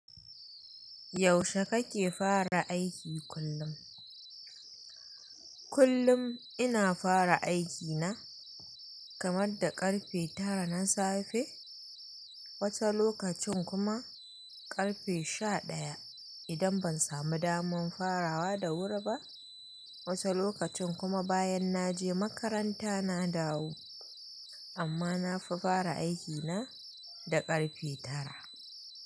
Yaushe kake fara aiki kullum? Kullun ina fara aikina kaman da ƙarfe tara na safe, wata lokacin kuma ƙarfe sha ɗaya idan ban samu daman farawa da wuri ba. Wata lokacin kuma bayan na je makaranta na dawo amma na fi fara aikina da ƙarfe tara.